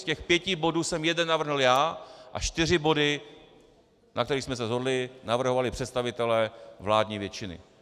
Z těch pěti bodů jsem jeden navrhl já a čtyři body, na kterých jsme se shodli, navrhovali představitelé vládní většiny.